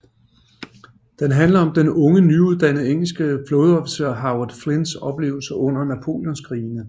Den handler om den unge nyuddannede engelske flådeofficer Howard Flynns oplevelser under napoleonskrigene